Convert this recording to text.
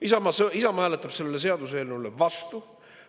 Isamaa hääletab selle seaduseelnõu vastu.